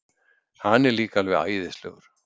Hann er líka alveg æðislegur.